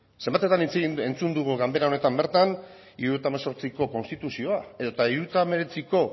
zenbatetan entzun dugu ganbara honetan bertan hirurogeita hemezortziko konstituzioa edota horren